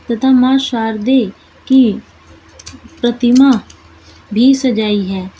तथा मां शारदे की प्रतिमा भी सजाई है।